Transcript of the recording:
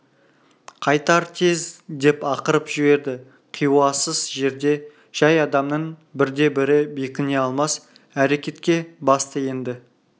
қайтар тез деп ақырып жіберді қиуасыз жерде жай адамның бірде-бірі бекіне алмас әрекетке басты енді